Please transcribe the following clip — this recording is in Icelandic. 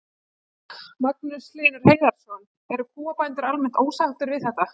Magnús Hlynur Hreiðarsson: Eru kúabændur almennt ósáttir við þetta?